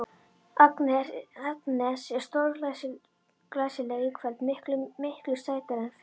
Agnes er stórglæsileg í kvöld, miklu, miklu sætari en fyrr.